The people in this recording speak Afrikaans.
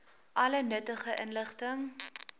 alle nuttige inligting